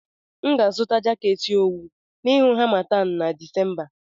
M ga-azụta jaket owu n'ihu harmattan na Disemba.